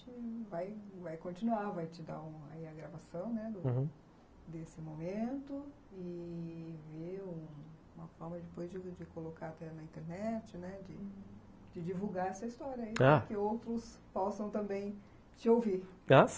E aí a gente vai vai continuar, vai te dar a gravação, né, uhum, desse momento e... ver uma forma depois de colocar na internet, né, de divulgar essa história aí, ah, para que outros possam também te ouvir.